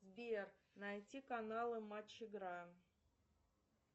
сбер найти каналы матч игра